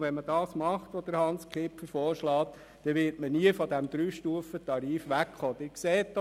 Wenn man den Vorschlag von Grossrat Kipfer umsetzt, wird man nie von diesem Dreistufentarif wegkommen.